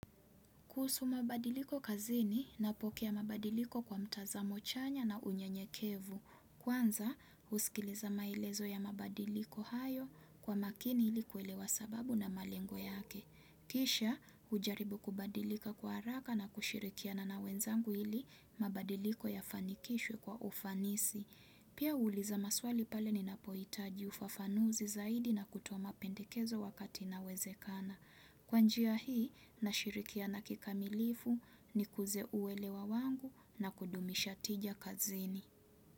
Kuhusu mabadiliko kazini napokea mabadiliko kwa mtazamo chanya na unyenyekevu. Kwanza, usikiliza maelezo ya mabadiliko hayo kwa makini ili kuelewa sababu na malengo yake. Kisha, ujaribu kubadilika kwa haraka na kushirikiana na wenzangu ili mabadiliko ya fanikishwe kwa ufanisi. Pia huuliza maswali pale ninapoitaji ufafanuzi zaidi na kutoa mapendekezo wakati inawezekana. Kwa njia hii nashirikiana kikamilifu nikuze uelewa wangu na kudumisha tija kazini.